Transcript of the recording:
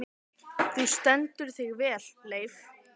Þú stendur þig vel, Leif!